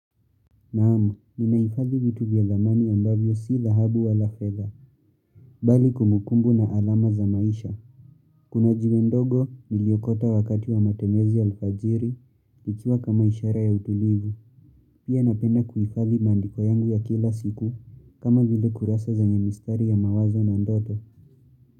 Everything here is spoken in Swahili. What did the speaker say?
Naam, ninahifadhi vitu vya thamani ambavyo si dhahabu wala fedha, bali kumbukumbu na alama za maisha. Kuna jiwendogo niliokota wakati wa matembezi alfajiri, ikiwa kama ishara ya utulivu, pia ninapenda kuhifadhi maandiko yangu ya kila siku kama vile kurasa zenye mistari ya mawazo na ndoto.